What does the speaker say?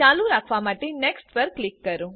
ચાલુ રાખવા માટે નેક્સ્ટ પર ક્લિક કરો